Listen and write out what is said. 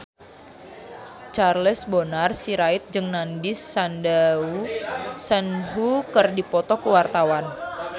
Charles Bonar Sirait jeung Nandish Sandhu keur dipoto ku wartawan